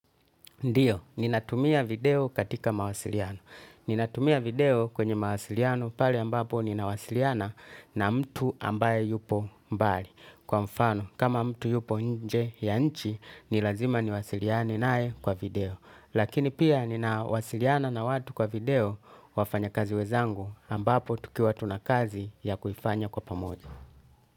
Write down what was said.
Ndiyo, ninatumia video katika mawasiliano. Ninatumia video kwenye mawasiliano pale ambapo ninawasiliana na mtu ambaye yupo mbali. Kwa mfano, kama mtu yupo nje ya nchi, ni lazima niwasiliane naye kwa video. Lakini pia ninawasiliana na watu kwa video, wafanya kazi wezangu ambapo tukiwa tunakazi ya kufanya kwa pamojo.